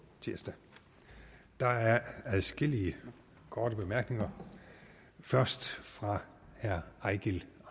tirsdag der er adskillige korte bemærkninger først fra herre eigil